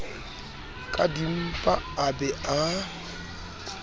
ka dimpa a be a